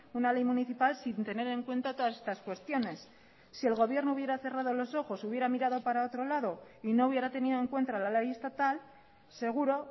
una ley municipal sin tener en cuenta todas estas cuestiones si el gobierno hubiera cerrado los ojos hubiera mirado para otro lado y no hubiera tenido en cuenta la ley estatal seguro